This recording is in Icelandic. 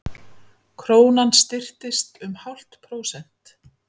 Krónan styrktist um hálft prósent